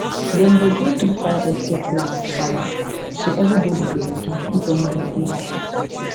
dem dey go through fire escape plan with family so everybody go ready if any gbege happen